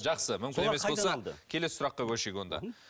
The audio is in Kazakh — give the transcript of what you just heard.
жақсы мүмкін емес болса келесі сұраққа көшейік онда